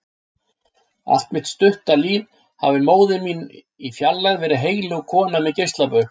Allt mitt stutta líf hafði móðir mín í fjarlægð verið heilög kona með geislabaug.